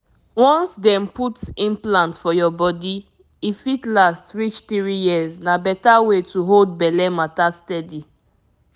once dem put implant for your body e fit last reach three years — na better way to hold belle matter steady.